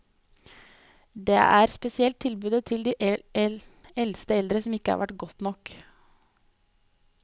Det er spesielt tilbudet til de eldste eldre som ikke har vært godt nok.